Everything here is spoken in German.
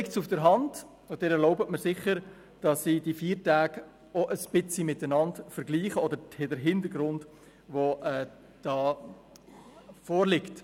Da liegt es auf der Hand – und Sie erlauben mir das sicher –, dass ich die Feiertage auch ein bisschen miteinander vergleiche oder den Hintergrund, der vorliegt.